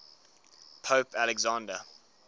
pope alexander